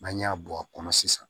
N'an y'a bɔ a kɔnɔ sisan